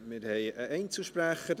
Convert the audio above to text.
Wir haben einen Einzelsprecher: